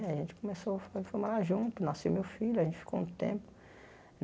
Eh a gente começou foi morar junto, nasceu meu filho, a gente ficou um tempo.